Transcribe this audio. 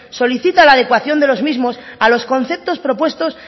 solicita la adecuación de los mismos a los conceptos propuestos